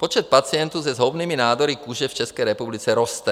Počet pacientů se zhoubnými nádory kůže v České republice roste.